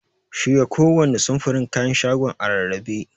Shirya kowanne samfurin kayan shagonan a rarrabe.